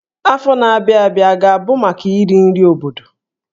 Afọ na-abịa abịa a ga-abụ maka iri nri obodo?